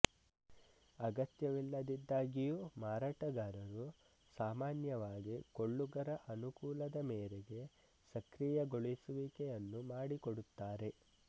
ಅಗತ್ಯವಿಲ್ಲದಿದ್ದಾಗಿಯೂ ಮಾರಾಟಗಾರರು ಸಾಮಾನ್ಯವಾಗಿ ಕೊಳ್ಳುಗರ ಅನುಕೂಲದ ಮೇರೆಗೆ ಸಕ್ರಿಯಗೊಳಿಸುವಿಕೆಯನ್ನು ಮಾಡಿಕೊಡುತ್ತಾರೆ